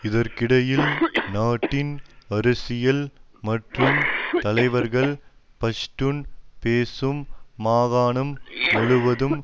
இதற்கிடையில் நாட்டின் அரசியல் மற்றும் தலைவர்கள் பஷ்டுன் பேசும் மாகாணம் முழுவதும்